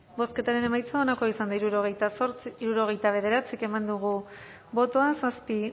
bozketaren emaitza onako izan da hirurogeita bederatzi eman dugu bozka zazpi